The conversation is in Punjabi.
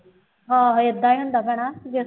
ਆਹੋ ਏਦਾਂ ਹੀ ਹੁੰਦਾ ਭੈਣਾ ਜੇ